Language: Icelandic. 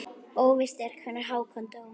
Óvíst er hvenær Hákon dó.